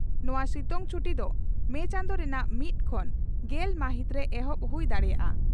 ᱱᱚᱣᱟ ᱥᱤᱛᱩᱝ ᱪᱷᱩᱴᱤ ᱫᱚ ᱢᱮ ᱪᱟᱸᱫᱚ ᱨᱮᱱᱟᱜ ᱢᱤᱛ ᱠᱷᱚᱱ ᱜᱮᱞ ᱢᱟᱹᱦᱤᱛ ᱨᱮ ᱮᱦᱚᱵ ᱦᱩᱭ ᱫᱟᱲᱮᱭᱟᱜᱼᱟ ᱾